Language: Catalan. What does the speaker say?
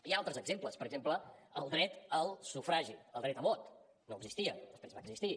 hi ha altres exemples per exemple el dret a sufragi el dret a vot no existia després va existir